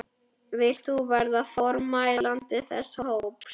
Vilt þú verða formælandi þess hóps?